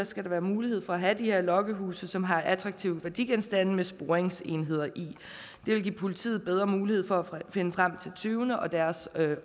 skal der være mulighed for at have de her lokkehuse som har attraktive værdigenstande med sporingsenheder i det vil give politiet bedre mulighed for at finde frem til tyvene og deres